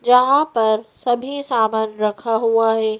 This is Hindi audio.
यहां पर सभी सामान रखा हुआ है।